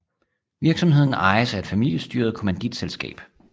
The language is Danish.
Virksomheden ejes af et familestyret kommanditselskab